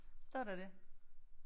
Står der det?